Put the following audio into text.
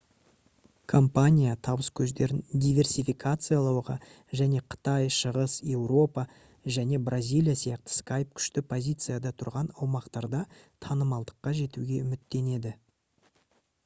компания табыс көздерін диверсификациялауға және қытай шығыс еуропа және бразилия сияқты skype күшті позицияда тұрған аумақтарда танымалдыққа жетуге үміттенеді